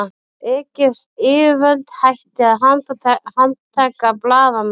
Egypsk yfirvöld hætti að handtaka blaðamenn